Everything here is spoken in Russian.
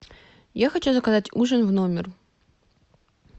я хочу заказать ужин в номер